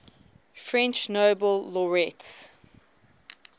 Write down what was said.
french nobel laureates